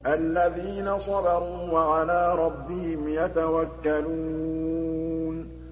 الَّذِينَ صَبَرُوا وَعَلَىٰ رَبِّهِمْ يَتَوَكَّلُونَ